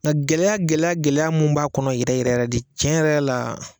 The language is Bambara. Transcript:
Nka gɛlɛya gɛlɛya gɛlɛya mun b'a kɔnɔ yɛrɛ yɛrɛ de cɛn yɛrɛ yɛrɛ la